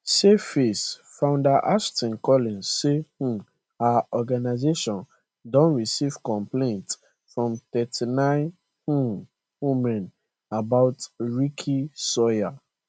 save face founder ashton collins say um her organisation don receive complaints from 39 um women about ricky sawyer